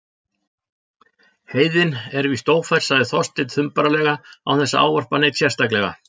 Heiðin er víst ófær- sagði Þorsteinn þumbaralega án þess að ávarpa neinn sérstaklega.